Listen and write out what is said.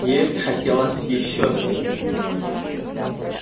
есть хотелось ещё сильнее